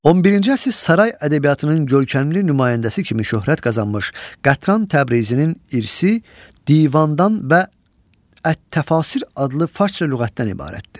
11-ci əsr saray ədəbiyyatının görkəmli nümayəndəsi kimi şöhrət qazanmış Qətran Təbrizinin irsi divandan və ət-Təfəsir adlı farsça lüğətdən ibarətdir.